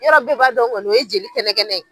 Yɔrɔ bɛɛ b'a dɔn kɔni o ye jeli kɛnɛkɛnɛ ye.